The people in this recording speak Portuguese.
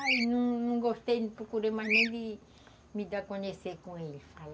Aí não não gostei, não procurei mais nem de me dar a conhecer com ele.